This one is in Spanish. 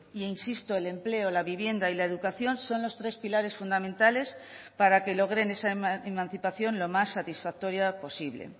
e insisto el empleo la vivienda y la educación son los tres pilares fundamentales para que logren esa emancipación lo más satisfactoria posible